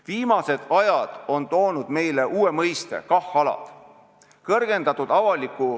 Viimased ajad on toonud meile uue mõiste: KAH-alad.